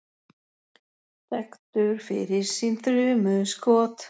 Þekktur fyrir sín þrumu skot.